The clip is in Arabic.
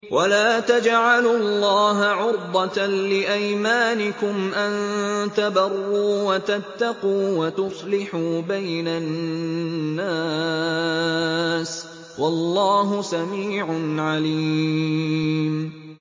وَلَا تَجْعَلُوا اللَّهَ عُرْضَةً لِّأَيْمَانِكُمْ أَن تَبَرُّوا وَتَتَّقُوا وَتُصْلِحُوا بَيْنَ النَّاسِ ۗ وَاللَّهُ سَمِيعٌ عَلِيمٌ